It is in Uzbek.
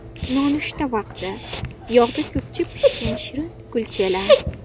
Nonushta vaqti: Yog‘da ko‘pchib pishgan shirin kulchalar.